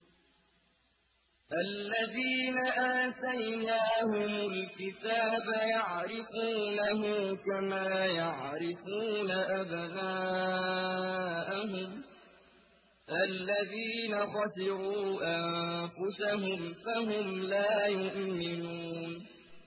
الَّذِينَ آتَيْنَاهُمُ الْكِتَابَ يَعْرِفُونَهُ كَمَا يَعْرِفُونَ أَبْنَاءَهُمُ ۘ الَّذِينَ خَسِرُوا أَنفُسَهُمْ فَهُمْ لَا يُؤْمِنُونَ